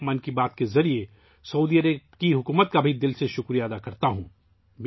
من کی بات کے ذریعے میں سعودی عرب کی حکومت کا بھی تہہ دل سے شکریہ ادا کرتا ہوں